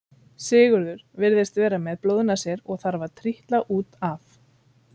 Sigurður virðist vera með blóðnasir og þarf að trítla út af.